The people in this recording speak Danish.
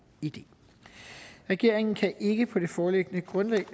idé regeringen kan ikke på det foreliggende grundlag